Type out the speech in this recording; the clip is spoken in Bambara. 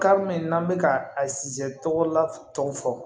min n'an bɛ ka a sizi tɔgɔ la tɔgɔ fɔ